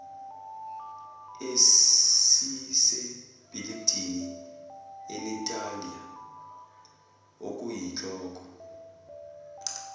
esisebhilidini inatalia okuyinhloko